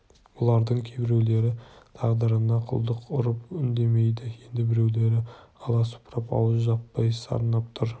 бұлардың кейбіреулері тағдырына құлдық ұрып үндемейді енді біреулері аласұрып ауыз жаппай сарнап тұр